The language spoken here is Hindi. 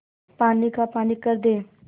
पानी का पानी कर दे